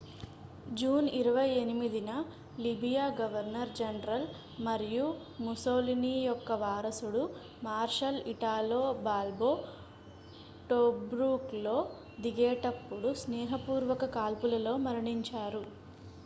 June 28న Libya governor general మరియు Mussolini యొక్క వారసుడు మార్షల్ ఇటాలో బాల్బో టోబ్రూక్లో దిగేటప్పుడు స్నేహపూర్వక కాల్పులలో మరణించారు